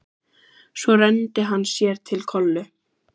Svo renndi hann sér til Kollu.